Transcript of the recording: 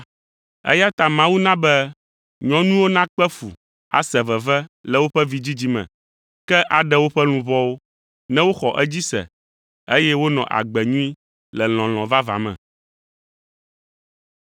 Eya ta Mawu na be nyɔnuwo nakpe fu ase veve le woƒe vidzidzi me, ke aɖe woƒe luʋɔwo ne woxɔ edzi se, eye wonɔ agbe nyui le lɔlɔ̃ vavã me.